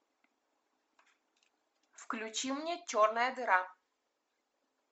включи мне черная дыра